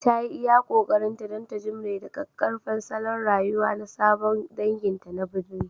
Ta yi iya ƙoƙarinta don ta jimre da ƙaƙƙarfan salon rayuwa na sabon danginta na birni